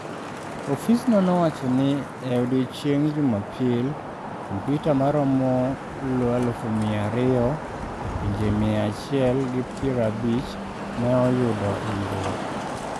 Ofisno nowacho ni e odiechieng’ Jumapil, kompyuta maromo lufmia ariyo e pinje mia achielprabich ne oyudo hinyruok.